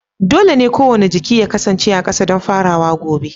Dole ne kowane jiki ya kasance a ƙasa don farawa gobe